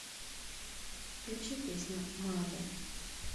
включи песня мазе